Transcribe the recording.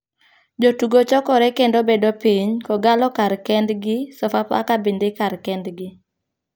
Jotugo chokore kendo bedo piny, kogallo kar kend gi sofafaka bende kar kend gi.